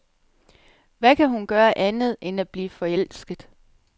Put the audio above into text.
Hvad kan hun gøre andet end at blive forelsket.